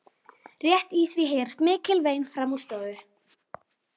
Rétt í því heyrast mikil vein framan úr stofu.